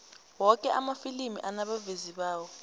woke amafilimi anabavezi bawo